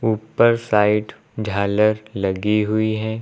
ऊपर साइड झालर लगी हुई है।